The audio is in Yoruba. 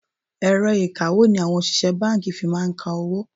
Èrọ ìkawó ni àwọn òṣìṣẹ́ báńkì fi máa ń ka owó.